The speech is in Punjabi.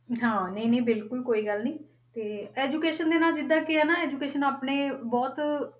ਹਾਂ, ਨਹੀਂ ਨਹੀਂ ਬਿਲਕੁਲ ਕੋਈ ਗੱਲ ਨੀ, ਤੇ education ਦੇ ਨਾਲ ਜਿੱਦਾਂ ਕੀ ਆ ਨਾ education ਆਪਣੇ ਬਹੁਤ,